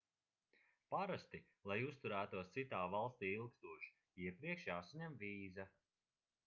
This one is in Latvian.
parasti lai uzturētos citā valstī ilgstoši iepriekš jāsaņem vīza